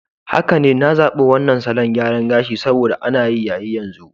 Haka ne, na zabi wannan salon gyara gashi saboda ana yayi yanzu.